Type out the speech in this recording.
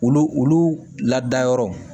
Olu olu ladayɔrɔw